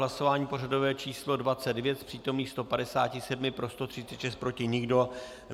Hlasování pořadové číslo 29, z přítomných 157 pro 136, proti nikdo.